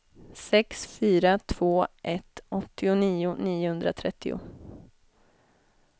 sex fyra två ett åttionio niohundratrettio